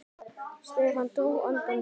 Stefán dró andann djúpt.